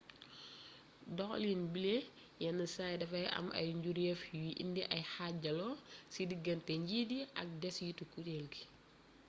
doxalin bile yennsaay dafay am ay njureef yuy indi ay xaajaloo ci diggante njiit yi ak desitu kureel gi